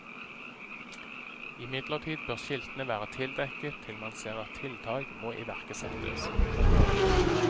Imidlertid bør skiltene være tildekket til man ser at tiltak må iverksettes. punktum